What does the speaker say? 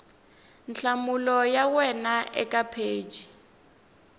nhlamulo ya wena eka pheji